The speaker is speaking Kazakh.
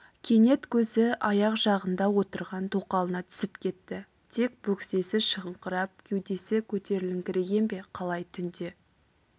кенет көзі аяқ жағында отырған тоқалына түсіп кетті тек бөксесі шығыңқырап кеудесі көтеріліңкіреген бе қалай түнде